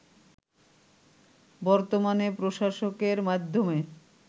বর্তমানে প্রশাসকের মাধ্যমে